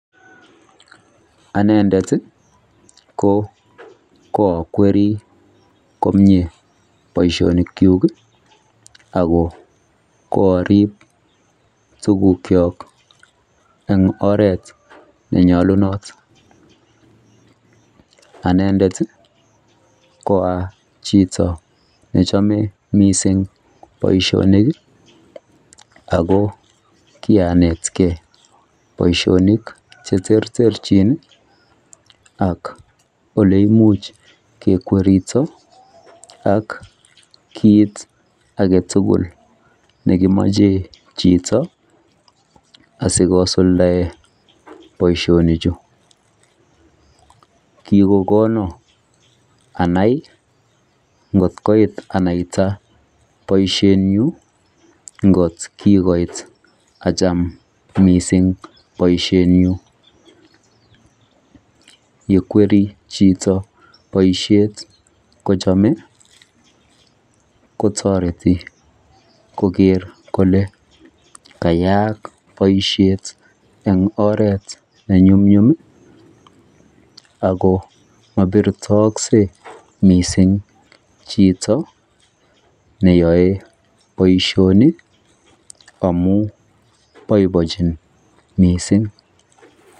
anendet iih ko kwokwerii komyee boishonik kyuuk iih ago koariib tuguk kyook en oret nenyolunot, anendet iih koachito nechome mising boishonik iih ago kianeet kee boishonik cheterter chin ak oleimuch kekwerito ak kiit agetugul negimoche chito asigosuldaen boishonik chu, kigogonon anai ngot koit anaita boisheet nyuun ngot kigoit acham mising boishet nyuun, yekwerii chito boishet kochome kotoreti kogeer kole kayaak boisheet en oreet nenyunmyum iih ago mobirtookse mising chito neyoe boishonik amuun boiboinchin mising.